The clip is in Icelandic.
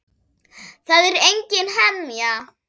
Það er engin hemja.